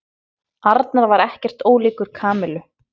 Arnar var ekkert ólíkur Kamillu.